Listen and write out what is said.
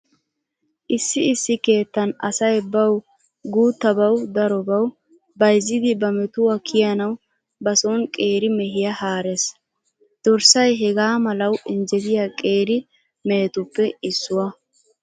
Issi issi keettan asay bawu guuttabawu darobawu bayzzidi ba metuwa kiyanawu ba sooni qeeri mehiya haarees. Dorssay hegaa malawu injjetiya qeeri mehetuppe issuwa.